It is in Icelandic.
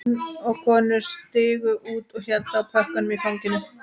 Menn og konur stigu út og héldu á pökkum í fanginu